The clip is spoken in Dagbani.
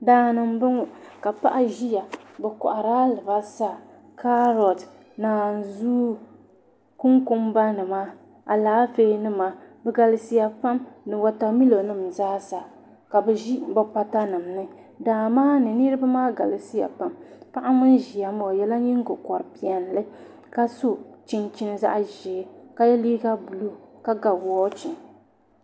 Daani m-bɔŋɔ ka paɣa ʒiya bɛ kɔhiri la alibarisa kaari naasuwa konkombanima alaafee nima di galisiya pam ni watamilo nim zaasa ka bɛ ʒi bɛ patanima ni daa maa ni niriba maa galisiya pam paɣa ŋun ʒiya maa o ye la nyingokɔri' piɛlli ka so chinchini zaɣ' ʒee ka ye liiga buluu ka ga wɔɔchi